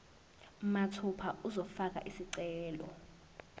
mathupha uzofaka isicelo